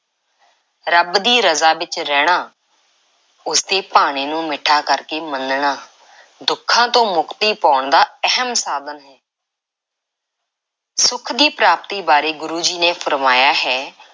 ਰੱਬ ਦੀ ਰਜ਼ਾ ਵਿੱਚ ਰਹਿਣਾ, ਉਸ ਦੇ ਭਾਣੇ ਨੂੰ ਮਿੱਠਾ ਕਰਕੇ ਮੰਨਣਾ, ਦੁੱਖਾਂ ਤੋਂ ਮੁਕਤੀ ਪਾਉਣ ਦਾ ਅਹਿਮ ਸਾਧਨ ਹੈ। ਸੁੱਖ ਦੀ ਪ੍ਰਾਪਤੀ ਬਾਰੇ ਗੁਰੂ ਜੀ ਨੇ ਫ਼ਰਮਾਇਆ ਹੈ